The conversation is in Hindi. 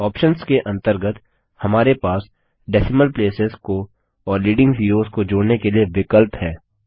आप्शंस के अंतर्गत हमारे पास डेसिमल प्लेसेस डेसिमल प्लेसेस को और लीडिंग ज़ीरोस को जोड़ने के लिए विकल्प है